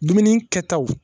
Dumuni kɛtaw